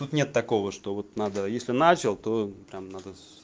тут нет такого что вот надо если начал то прям надо с